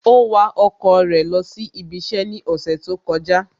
Ó wa ọkọ̀ rẹ̀ lọ sí ibi iṣẹ́ ní ọ̀sẹ̀ tó kọjá